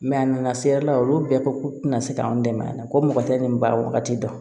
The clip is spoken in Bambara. a nana se yɔrɔ la olu bɛɛ ko k'u tɛna se k'anw dɛmɛ yan ko mɔgɔ tɛ nin bakaji dɔn